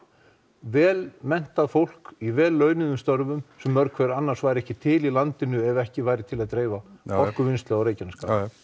vel menntað fólk í vel launum störfum sem væru annars ekki til í landinu ef ekki væri til að dreifa orkuvinnslu á Reykjanesi já